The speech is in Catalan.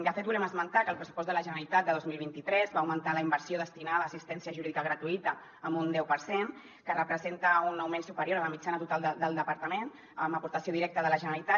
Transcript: de fet volem esmentar que el pressupost de la generalitat de dos mil vint tres va augmentar la inversió destinada a assistència jurídica gratuïta en un deu per cent que representa un augment superior a la mitjana total del departament amb aportació directa de la generalitat